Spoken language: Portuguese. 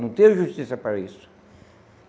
Não tinha justiça para isso.